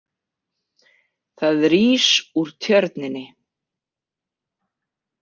ÞAÐ RÍS ÚR TJÖRNINNI.